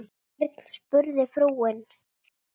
Hvern? spurði frúin.